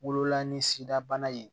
Wololan ni sidabana ye